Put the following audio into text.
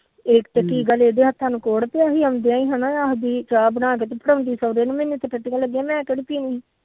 ਇਕ ਤੇ ਕੀ ਗੱਲ ਇਹਦੇ ਹੱਥਾਂ ਨੂੰ ਕੋਹੜ ਪਿਆ ਆਉਂਦਿਆ ਚਾਹ ਬਣਾ ਕੇ ਸੋਹਰੇ ਮੈ